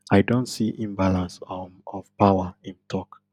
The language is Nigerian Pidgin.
i don see imbalance um of power im tok